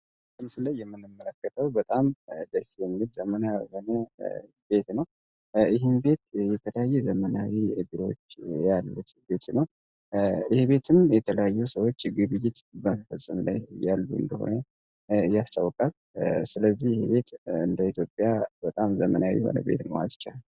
ከምስሉ ላይ የምንምመለከተው በጣም ደስ የህን ቤት ዘመናሆነ ቤት ነው ይህም ቤት የተላዩ ዘመናዊ እብሮች ያለቤት ነው። ይህ ቤትም የተለያዩ ሰዎች የግብጅት በንፈጽን ላይ ያሉ እንደሆነ እያስተውቃል። ስለዚህ ህ ቤት እንደ ኢትዮጵያ በጣም ዘመናዊ ሆነ ቤድ መዋ ይቻላል።